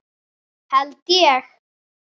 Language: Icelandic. Held ég.